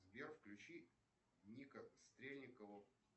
сбер включи ника стрельникова